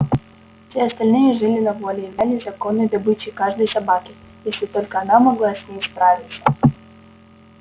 все остальные жили на воле и являлись законной добычей каждой собаки если только она могла с ней справиться